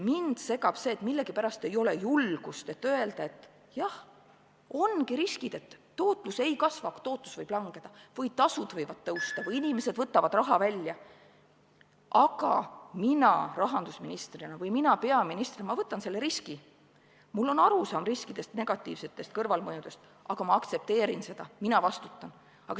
Mind segab see, et millegipärast ei ole julgust öelda, et jah, ongi riskid, et tootlus ei kasva, tootlus võib langeda või tasud võivad tõusta või inimesed võtavad raha välja, aga mina rahandusministrina või mina peaministrina võtan selle riski, mul on arusaam riskidest, negatiivsetest kõrvalmõjudest, aga ma aktsepteerin seda, mina vastutan.